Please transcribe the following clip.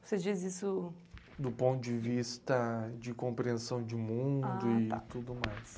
Você diz isso... Do ponto de vista de compreensão de mundo e tudo mais.